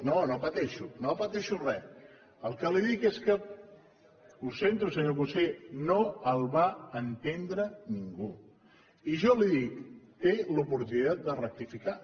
no no no pateixo no pateixo gens el que li dic és que ho sento senyor conseller no el va entendre ningú i jo li dic té l’oportunitat de rectificar